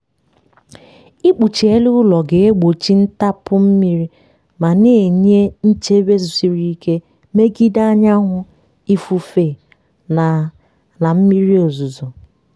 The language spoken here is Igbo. ikpuchi elu ụlọ ga-egbochi ntapu mmiri ma na-enye nchebe siri ike megide anyanwụ ifufe na na mmiri ozuzo.